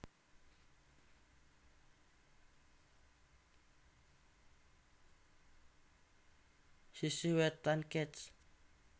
Sisih Wetan Kec